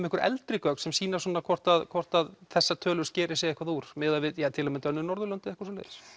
einhver eldri gögn sem sýna hvort hvort þessar tölur skeri sig eitthvað úr miðað við til að mynda aðrar Norðurlandaþjóðir